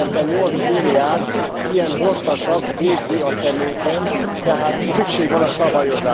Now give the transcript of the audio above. Évente 8 milliárd ilyen hordtasak végzi a szemétben, tehát szükség van